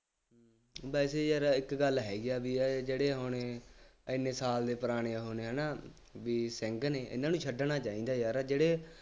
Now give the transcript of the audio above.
ਵੈਸੇ ਯਾਰ ਇੱਕ ਗੱਲ ਹੈਗੀ ਆ ਬਈ ਆਹ ਜਿਹੜੇ ਹੁਣ ਐਨੇ ਸਾਲ ਦੇ ਪੁਰਾਣੇ ਉਹ ਨੇ ਹੈ ਨਾ, ਬਈ ਸਿੰਘ ਨੇ ਇਹਨਾ ਨੂੰ ਛੱਡਣਾ ਚਾਹੀਦਾ ਯਾਰ ਜਿਹੜੇ